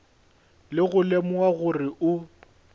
ka go lemoga gore o